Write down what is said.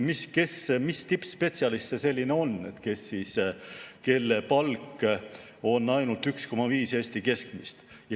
Ma ei tea, mis tippspetsialist see selline on, kelle palk on ainult 1,5 Eesti keskmist.